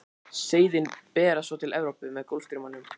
seiðin berast svo til evrópu með golfstraumnum